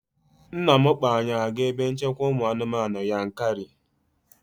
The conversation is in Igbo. Nna m kpọọ anyị aga ebe nchekwa ụmụ anụmanụ Yankari